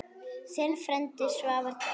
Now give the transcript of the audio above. Þinn frændi, Svavar Dór.